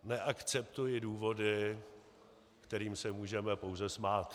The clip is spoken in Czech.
Neakceptuji důvody, kterým se můžeme pouze smát.